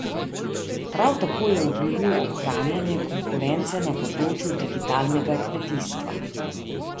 Prav tako je obljubil ohranjanje konkurence na področju digitalnega kmetijstva.